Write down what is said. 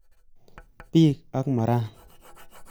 Bik ab Moran